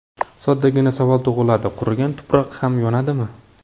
Soddagina savol tug‘iladi: qurigan tuproq ham yonadimi?